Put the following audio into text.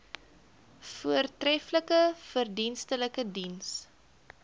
voortreflike verdienstelike diens